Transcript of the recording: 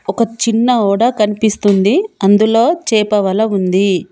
ఒక చిన్న ఓడ కన్పిస్తుంది అందులో చేప వల ఉంది.